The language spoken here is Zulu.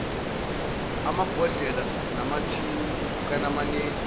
amabhodlela namathini kanamanedi